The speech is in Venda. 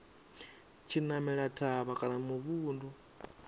tshi namela thavha kana muvhundu